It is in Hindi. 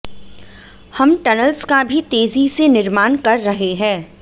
हम टनल्स का भी तेजी से निर्माण कर रहे हैं